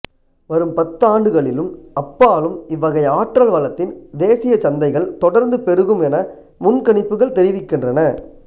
வரும் பத்தாண்டுகளிலும் அப்பாலும் இவ்வகை ஆற்றல் வளத்தின் தேசியச் சந்தைகள் தொடர்ந்து பெருகும் என முன்கணிப்புகள் தெரிவிக்கின்றன